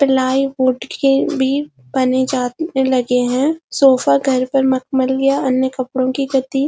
पलइ कोटि के भी बने जाते लगें हैं सोफा व अन्य की गद्दी --